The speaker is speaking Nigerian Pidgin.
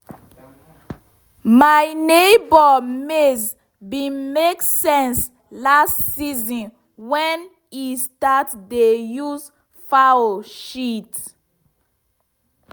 my neighbour maize bin make sense last season wen e start dey use fowl shit.